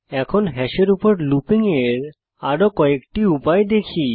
এখন হ্যাশের উপর লুপিং এর আরো কয়েকটি উপায় দেখি